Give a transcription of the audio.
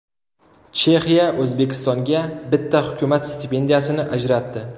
Chexiya O‘zbekistonga bitta hukumat stipendiyasini ajratdi.